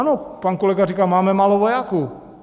Ano, pan kolega říkal, máme málo vojáků.